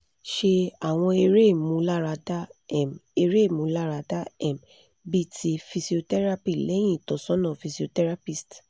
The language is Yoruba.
se àwọn ere imularada um ere imularada um bi ti physiotherapy lẹ́hìn ìtọ́sọ̀nà physiotherapist